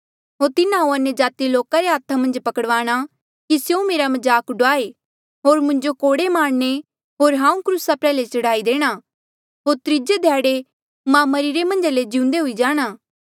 होर तिन्हा हांऊँ अन्यजाति लोका रे हाथा मन्झ पकड़वाणा कि स्यों मेरा मजाक ड़ुआयें होर मुंजो कोड़े मारणे होर हांऊँ क्रूसा प्रयाल्हे चढ़ाई देणा होर त्रीजे ध्याड़े मां मरिरे मन्झ ले जिउंदे हुई जाणा